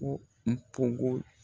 Ko n pogo